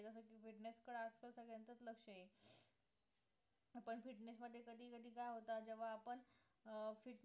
जसं की fitness कडे आजकल सगळ्यांचच लक्ष आहे पण fitness मध्ये कधी कधी काय होतं जेव्हा आपण अं fitness